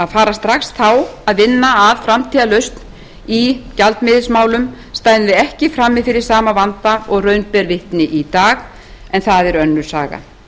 að fara strax þá að vinna að framtíðarlausn í gjaldmiðilsmálum stæðum við ekki frammi fyrir sama vanda og raun ber vitni í dag en það er önnur saga